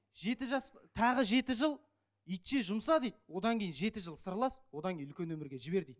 жеті жас тағы жеті жыл итше жұмса дейді одан кейін жеті жыл сырлас одан кейін үлкен өмірге жібер дейді